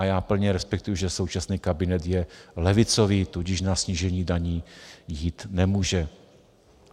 A já plně respektuji, že současný kabinet je levicový, tudíž na snížení daní jít nemůže.